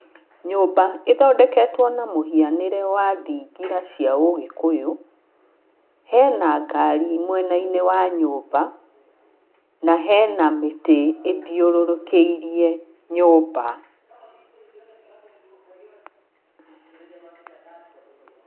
Nyũmba ĩthondeketwo na mũhianĩre wa thingira cia ũgĩkũyũ, hena ngari mwena-inĩ wa nyũmba, na hena mĩtĩ ĩthiũrũrũkĩirie nyũmba.